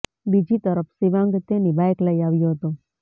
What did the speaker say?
બીજી તરફ શીવાંગ તેની બાઇક લઇ આવ્યો હતો